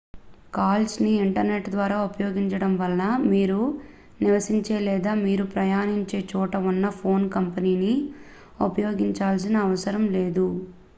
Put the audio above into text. calls ని internet ద్వారా ఉపయోగించడం వలన మీరు నివసించే లేదా మీరు ప్రయాణించే చోట ఉన్న ఫోన్ కంపెనీని ఉపయోగించాల్సిన అవసరం లేదు